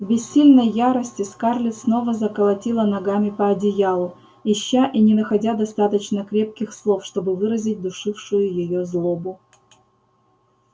в бессильной ярости скарлетт снова заколотила ногами по одеялу ища и не находя достаточно крепких слов чтобы выразить душившую её злобу